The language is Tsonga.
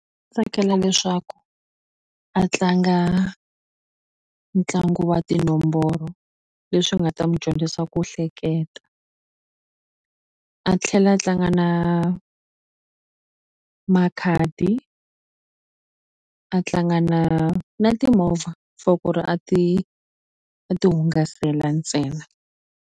Tsakela leswaku a tlanga ntlangu wa tinomboro leswi nga ta n'wi dyondzisa ku hleketa a tlhela a tlanga na makhadi a tlanga na na timovha for ku ri a ti a ti hungasela ntsena.